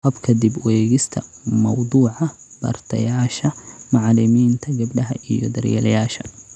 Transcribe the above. Habka dib u eegista mawduuca, bartayaasha, macalimiinta gabdhaha iyo daryeelayaasha